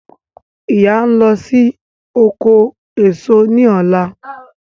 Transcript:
Ìyá ń lọ oko èso ní ọ̀la